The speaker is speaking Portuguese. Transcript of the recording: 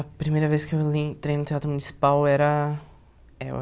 A primeira vez que eu entrei no Teatro Municipal eu era eu